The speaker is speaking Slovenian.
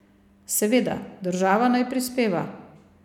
Seveda, država naj prispeva.